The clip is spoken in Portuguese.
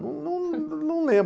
Num, num lembro.